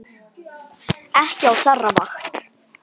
Ekki á þeirra vakt.